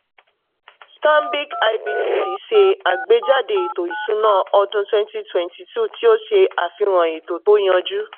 stanbic ibtc ṣe àgbéjáde ètò ìsúná ọdún twenty twenty two tí ó ṣe àfihàn ètò tó yanjú.